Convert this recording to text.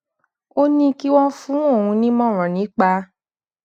ó ní kí wón fún òun nímòràn nípa